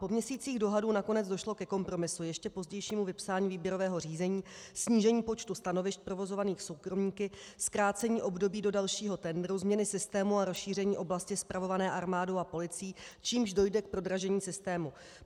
Po měsících dohadů nakonec došlo ke kompromisu - ještě pozdějšímu vypsání výběrového řízení, snížení počtu stanovišť provozovaných soukromníky, zkrácení období do dalšího tendru, změny systému a rozšíření oblasti spravované armádou a policií, čímž dojde k prodražení systému.